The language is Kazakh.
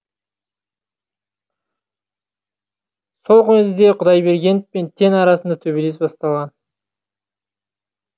сол кезде құдайбергенов пен тен арасында төбелес басталған